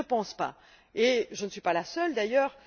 Je ne le pense pas et je ne suis pas la seule d'ailleurs.